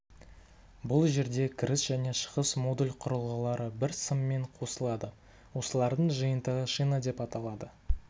бұл жерде кіріс және шығыс модуль құрылғылары бір сыммен қосылады осылардың жиынтығы шина деп аталады